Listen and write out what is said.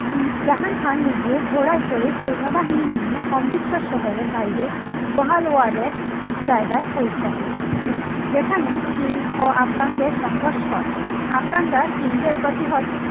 জাহাং খান নিজে ঘোড়ায় চড়ে সৈন্য বাহিনী নিয়ে অমৃতসর শহরের বাইরে গোহালওয়ার এর জায়গায় পৌঁছেন যেখানে সিং ও আফগানদের সংঘর্ষ হয় আফগানরা সিং দের প্রতিহত